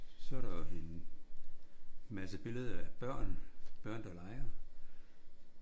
Så er der en masse billeder af børn. Børn der leger